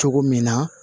Cogo min na